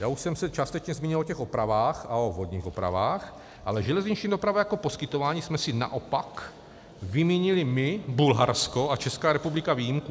Já už jsem se částečně zmínil o těch opravách a o vodních opravách, ale železniční dopravu jako poskytování jsme si naopak vymínili my, Bulharsko a Česká republika výjimku.